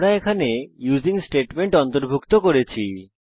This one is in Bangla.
আমরা এখানে ইউসিং স্টেটমেন্ট অন্তর্ভুক্ত করেছি